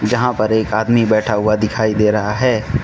यहां पर एक आदमी बैठा हुआ दिखाई दे रहा है।